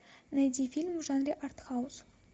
найди фильм в жанре артхаус